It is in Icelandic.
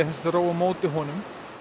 róa á móti honum